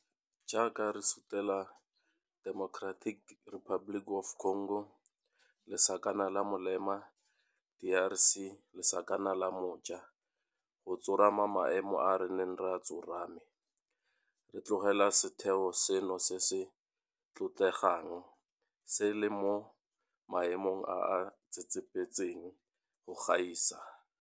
Jaaka re sutela Democratic Republic of Congo lesakana la molema DRC lesakana la mo ja go tsorama maemo a re neng re a tsorame, re tlogela setheo seno se se tlotlegang se le mo maemong a a tsetsepetseng go gaisa.